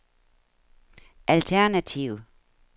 alternativ